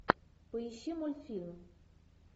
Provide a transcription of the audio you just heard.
поищи мультфильм